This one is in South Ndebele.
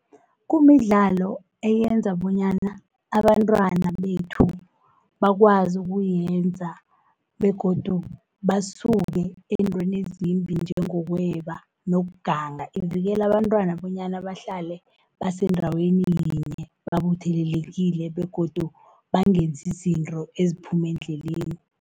Kumidlalo eyenza bonyana abantwana bethu, bakwazi ukuyenza, begodu basuke ezintweni ezimbi njengokweba, nokuganga. Ivikela abantwana bonyana bahlale basendaweni yinye, babuthelelekile begodu bangenzi izinto eziphuma endleleni.